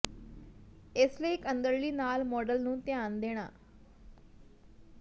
ਇਸ ਲਈ ਇੱਕ ਅੰਦਰਲੀ ਨਾਲ ਮਾਡਲ ਨੂੰ ਧਿਆਨ ਦੇਣਾ